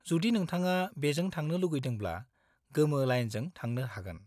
जुदि नोंथाङा बेजों थांनो लुगैदोंब्ला गोमो लाइनजो थांनो हागोन।